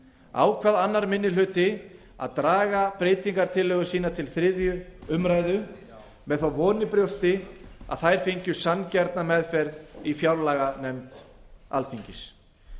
ákvað annar minni hluti að draga breytingartillögur sínar til þriðju umræðu með þá von í brjósti að þær fengju sanngjarna meðferð í fjárlaganefnd alþingis